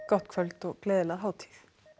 gott kvöld og gleðilega hátíð